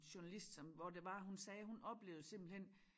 Journalist som hvor det var hun sagde hun oplevede simpelthen